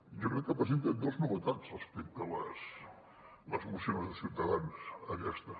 jo crec que presenta dos novetats respecte a les mocions de ciutadans aquesta